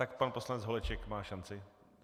Tak pan poslanec Holeček má šanci.